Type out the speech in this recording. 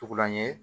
Tugulan ye